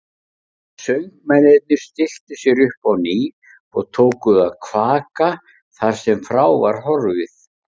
Söngmennirnir stilltu sér upp á ný og tóku að kvaka þar sem frá var horfið.